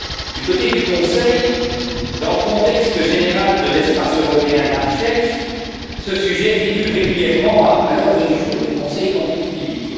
Du côté du Conseil, dans le contexte général de l'espace européen de la recherche, ce sujet figure régulièrement à l'ordre du jour du Conseil Compétitivité.